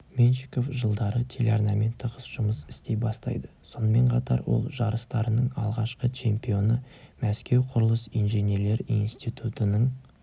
меньшиков жылдары телеарнамен тығыз жұмыс істей бастайды сонымен қатар ол жарыстарының алғашқы чемпионы мәскеу құрылыс-инженерлер институтының